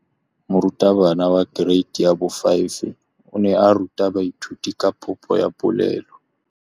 Moratabana wa kereiti ya 5 o ne a ruta baithuti ka popô ya polelô.